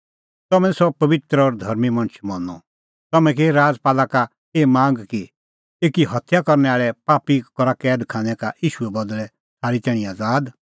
तम्हैं निं सह पबित्र और धर्मीं मणछ मनअ तम्हैं की राजपाला का एही मांग कि एकी हत्या करनै आल़ै पापी करा कैद खानै का ईशूए बदल़ै थारी तैणीं आज़ाद